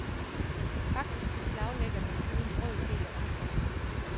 Faktisk beslaglægger den kun en brøkdel af omkostningerne.